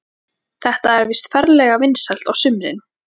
Þetta er víst ferlega vinsælt á sumrin.